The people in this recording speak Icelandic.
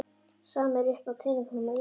Sama er uppi á teningnum á Íslandi